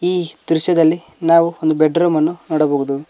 ಈ ದೃಶ್ಯದಲ್ಲಿ ನಾವು ಒಂದು ಬೆಡ್ರೂಮ್ ಅನ್ನು ನೋಡಬಹದು.